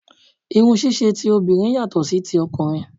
Irun ṣíṣe obìnrin yàtọ̀ sí ti ọkùnrin